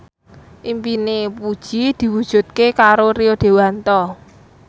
impine Puji diwujudke karo Rio Dewanto